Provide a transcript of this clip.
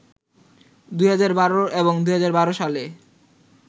২০১২ এবং ২০১২ সালে